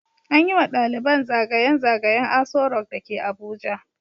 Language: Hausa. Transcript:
An yi wa daliban zagayen zagayen Aso rock da ke Abuja.